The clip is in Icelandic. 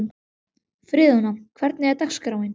Friðjóna, hvernig er dagskráin?